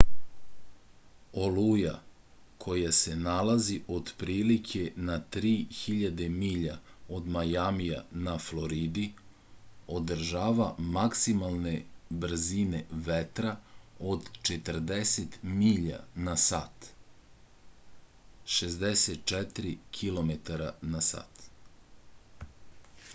олуја која се налази отприлике на 3000 миља од мајамија на флориди одржава максималне брзине ветра од 40 миља на сат 64 km/h